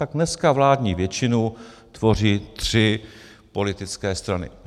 Tak dneska vládní většinu tvoří tři politické strany.